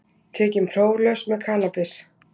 Tekinn próflaus með kannabis